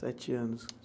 Sete anos.